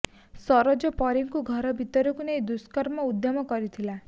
ସରୋଜ ପରୀକୁ ଘର ଭିତରକୁ ନେଇ ଦୁଷ୍କର୍ମ ଉଦ୍ୟମ କରିଥିଲା